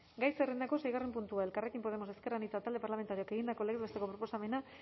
gai zerrendako seigarren puntua elkarrekin podemos ezker anitza talde parlamentarioak egindako legez besteko proposamena